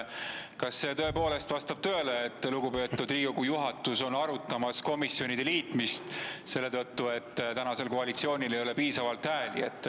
Kas see tõepoolest vastab tõele, et lugupeetud Riigikogu juhatus arutada komisjonide liitmist, kuna praegusel koalitsioonil ei ole piisavalt hääli?